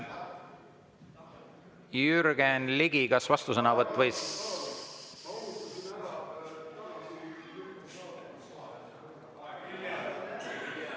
Jürgen Ligi, kas vastusõnavõtt või …